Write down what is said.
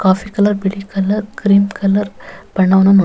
coffee colour ಬಿಳಿ colour cream colour ಬಣ್ಣವನ್ನು --